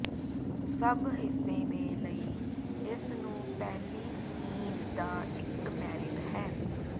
ਸਭ ਹਿੱਸੇ ਦੇ ਲਈ ਇਸ ਨੂੰ ਪਹਿਲੀ ਸੀਨ ਦਾ ਇੱਕ ਮੈਰਿਟ ਹੈ